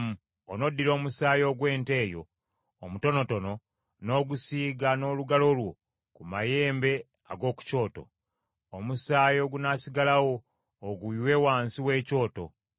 Onoddira omusaayi ogw’ente eyo omutonotono, n’ogusiiga n’olugalo lwo ku mayembe ag’oku kyoto; omusaayi ogunaasigalawo oguyiwe wansi w’ekyoto.